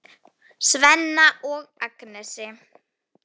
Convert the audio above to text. Svenna og Agnesi.